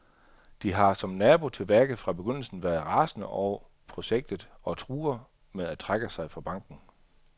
De har, som nabo til værket, fra begyndelsen været rasende over projektet og truer med at trække sig fra banken.